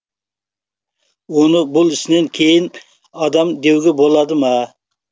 оны бұл ісінен кейін адам деуге болады ма